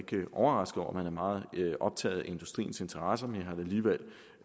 overrasket over at man er meget optaget af industriens interesser men